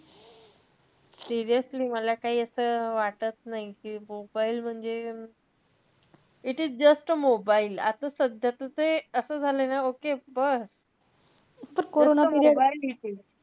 Seriously मला काई असं वाटत नाई कि mobile म्हणजे, it is just a mobile. आता सध्या त ते असं झालय ना कि बस. फक्त mobile it is.